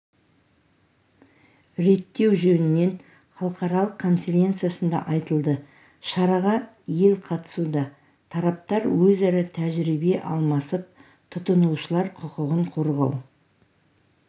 реттеу жөнінен халықаралық конференциясында айтылды шараға ел қатысуда тараптар өзара тәжірибе алмасып тұтынушылар құқығын қорғау